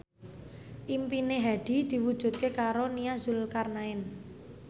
impine Hadi diwujudke karo Nia Zulkarnaen